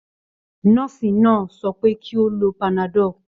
Nọ́ọ̀sì náà sọ pé kí ó lo panadol.